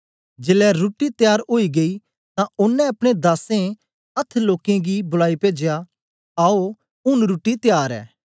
जेलै रुट्टी त्यार ओई गेई तां ओनें अपने दासें अथ्थ लोकें गी बुलाई पेजया आओ ऊन रुट्टी त्यार ऐ